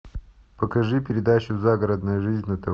покажи передачу загородная жизнь на тв